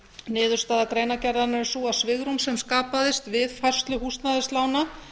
niðurstaða greinargerðarinnar er sú að svigrúm sem skapaðist við færslu húsnæðislána